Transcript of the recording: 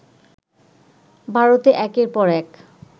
ভারতে একের পর এক